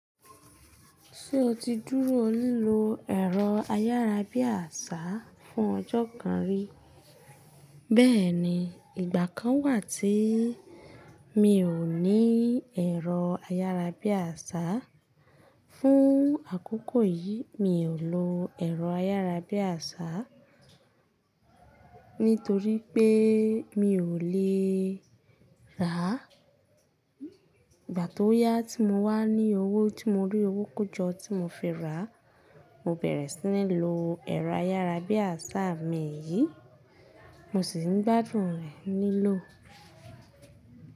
Ṣé o ti dúró lílo ẹ̀rọ ayárabíàṣá fún ọjọ́ kan rí? Bẹ́ẹ̀ni, ìgbà kan wà tí mi ò ní ẹ̀rọ ayárabíàṣá. Fún àkókò yìí mi ò lo ẹ̀rọ ayárabíàṣá nítorí pé mi ò lè rà á. Ìgbà tó yá tí mo wá ní owó tí mo rí owó kójọ tí mo fi rà á, mo bẹ̀rẹ̀ sí ní lo ẹ̀rọ ayárabíàṣá mi yìí. Mo sì ń gbádùn rẹ̀ lílò.